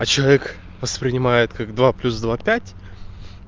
а человек воспринимает как два плюс два пять